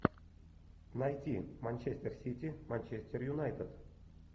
найти манчестер сити манчестер юнайтед